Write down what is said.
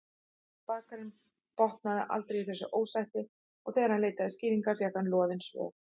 Bakarinn botnaði aldrei í þessu ósætti og þegar hann leitaði skýringa fékk hann loðin svör.